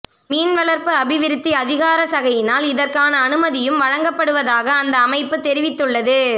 மீன்வளர்ப்பு அபிவிருத்தி அதிகாரசகையினால் இதற்கான அனுமதியும் வழங்கப்படுவதாக அந்த அமைப்பு தெரிவித்துள்ளது